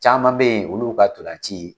Caman bɛ yen olu ka ntolanci